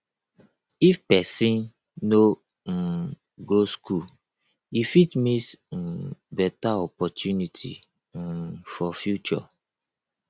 if pesin no um go school e fit miss um beta opportunity um for future